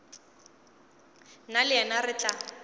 nna le yena re tla